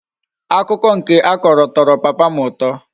Akuko nke a Koro toro papa m uto